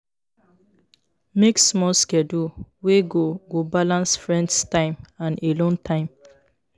Make small schedule wey go go balance friends time and alone time